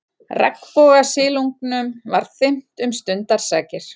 Regnbogasilungnum var þyrmt um stundarsakir.